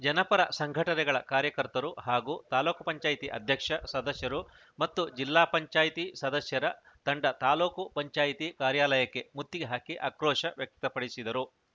ಜನಪರ ಸಂಘಟನೆಗಳ ಕಾರ್ಯಕರ್ತರು ಹಾಗೂ ತಾಲ್ಲೂಕು ಪಂಚಾಯತಿ ಅಧ್ಯಕ್ಷ ಸದಸ್ಯರು ಮತ್ತು ಜಿಲ್ಲಾ ಪಂಚಾಯತಿ ಸದಸ್ಯರ ತಂಡ ತಾಲೂಕು ಪಂಚಾಯಿತಿ ಕಾರ್ಯಾಲಯಕ್ಕೆ ಮುತ್ತಿಗೆ ಹಾಕಿ ಆಕ್ರೋಶ ವ್ಯಕ್ತಪಡಿಸಿದರು